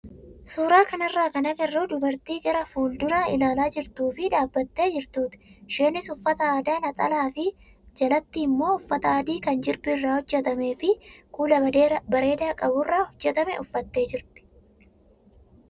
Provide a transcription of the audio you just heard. Suuraa kanarraa kan agarru dubartii gara fuulduraa ilaalaa jirtuu fi dhaabbattee jirtuuti. Isheenis uffata aadaa naxalaa fi jalatti immoo uffata adii kan jirbii irraa hojjatamee fi kuula bareedaa qaburraa hojjatame uffattee jirti.